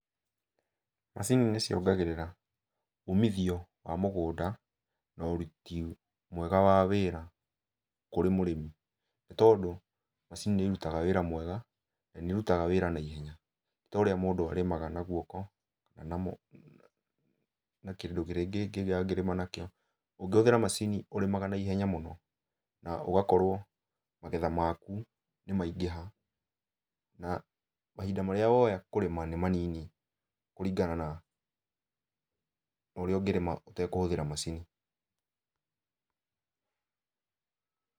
Macini nĩciongagĩrĩra umithio wa mũgũnda, na ũruti mwega wa wĩra kũrĩ mũrĩmi. Ni tondũ macini nĩirutaga wĩra mwega, na nĩirutaga wĩra naihenya. Ti ta ũrĩa mũndũ arĩmaga na guoko kana na kĩndũ kĩrĩa kĩngĩ angĩrĩma nakĩo. Ũngĩhũthĩra macini ũrĩmaga naihenya mũno, na ũgakorwo magetha maku nĩmaingĩha. Na mahinda marĩa woya kũrĩma nĩmanini kũringana na, na ũrĩa ũngĩrĩma ũtekũhũthĩra macini.